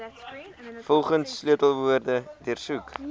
volgens sleutelwoorde deursoek